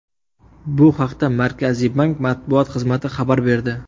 Bu haqda Markaziy bank matbuot xizmati xabar berdi .